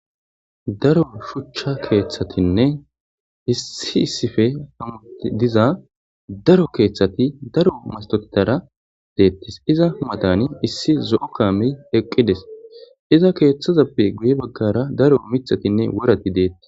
daro shuchcha keeththatinne hissi issife hamuti diza daro keeththati daro mastottara deettis iza matani issi zo7o kaami eqqides iza keeththazappe guye baggara daro mithatinne worati deetti